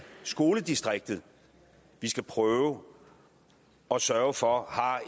skoledistriktet vi skal prøve at sørge for har